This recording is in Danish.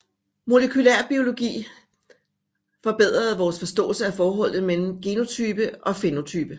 Molekylærbiologi forbedrede vores forståelse af forholdet mellem genotype og fænotype